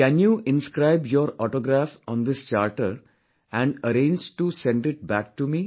Can you inscribe your autograph on this Charter and arrange to send it back to me